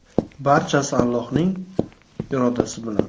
Barchasi Allohning irodasi bilan.